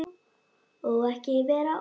Og ekki vera of lengi.